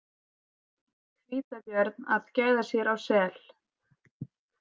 Hvítabjörn að gæða sér á sel.